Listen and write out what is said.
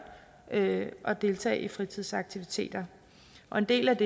at at deltage i fritidsaktiviteter og en del af